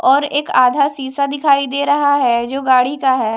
और एक आधा शीशा दिखाई दे रहा है जो गाड़ी का है।